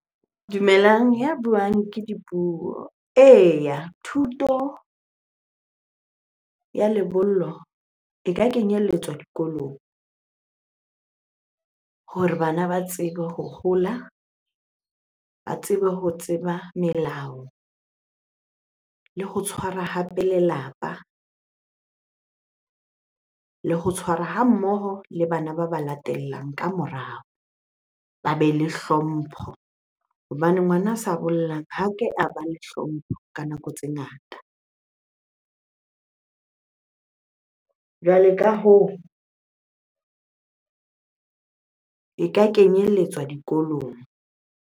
Dumelang, ya buang ke Dipuo. Eya, thuto ya lebollo e ka kenyelletswa dikolong hore bana ba tsebe ho hola, ba tsebe ho tseba melao le ho tshwara hape lelapa, le ho tshwara ha mmoho le bana ba ba latellang ka morao, ba be le hlompho. Hobane ngwana a sa bollang ha ke a ba le hlompho ka nako tse ngata. Jwale ka hoo, e ka kenyelletswa dikolong.